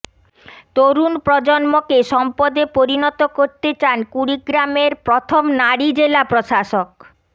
তরুণ প্রজন্মকে সম্পদে পরিণত করতে চান কুড়িগ্রামের প্রথম নারী জেলা প্রশাসক